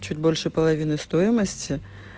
чуть больше половины стоимости